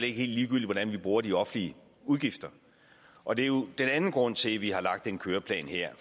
er helt ligegyldigt hvordan vi bruger de offentlige udgifter og det er jo den anden grund til at vi har lagt en køreplan her